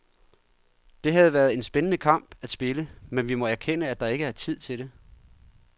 Det havde været en spændende kamp at spille, men vi må erkende, at der ikke er tid til det.